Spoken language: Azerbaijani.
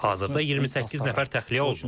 Hazırda 28 nəfər təxliyə olunur.